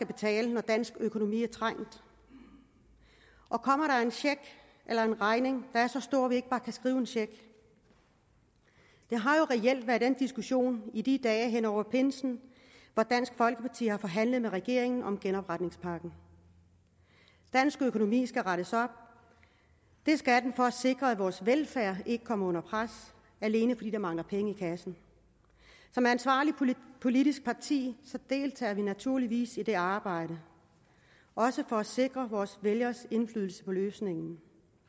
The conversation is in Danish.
betale når dansk økonomi er trængt og kommer der en regning der er så stor ikke bare kan skrive en check det har jo reelt været den diskussion i de dage hen over pinsen hvor dansk folkeparti har forhandlet med regeringen om genopretningspakken dansk økonomi skal rettes op og det skal den for at sikre at vores velfærd ikke kommer under pres alene fordi der mangler penge i kassen som ansvarligt politisk parti deltager vi naturligvis i det arbejde også for at sikre vores vælgere indflydelse på løsningen